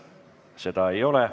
Seda ei ole.